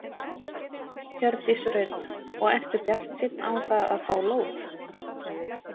Hjördís Rut: Og ertu bjartsýnn á það að fá lóð?